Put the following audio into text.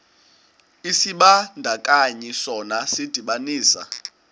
isibandakanyi sona sidibanisa